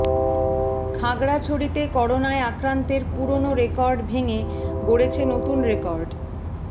খাগড়াছড়িতে করোনায় আক্রান্তের পুরোনো রেকর্ড ভেঙে গড়েছে নতুন রেকর্ড